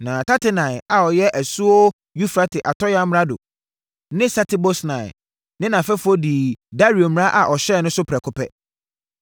Na Tatenai a ɔyɛ asuo Eufrate atɔeɛ amrado ne Setar-Bosnai ne nʼafɛfoɔ dii Dario mmara a ɔhyɛeɛ no so prɛko pɛ.